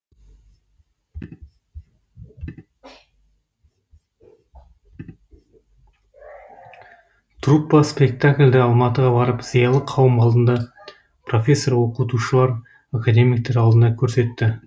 труппа спектакльді алматыға барып зиялы қауым алдында профессор оқытушылар академиктер алдында көрсетті